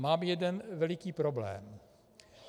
Mám jeden veliký problém.